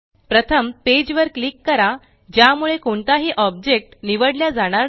प्रथम पेज वर क्लिक करा ज्यामुळे कोणताही ऑब्जेक्ट निवडल्या जाणार नाही